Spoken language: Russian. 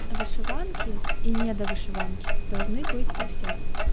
вышиванки и недо вышиванки должны быть у всех